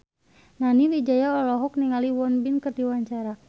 Nani Wijaya olohok ningali Won Bin keur diwawancara